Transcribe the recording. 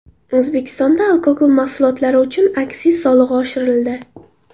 O‘zbekistonda alkogol mahsulotlari uchun aksiz solig‘i oshirildi.